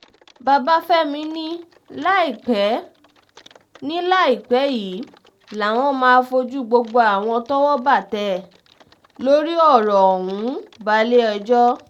babafẹ́mi ni láìpẹ́ ni láìpẹ́ yìí làwọn máa fojú gbogbo àwọn tọ́wọ́ bá tẹ̀ lórí ọ̀rọ̀ ọ̀hún balẹ̀-ẹjọ́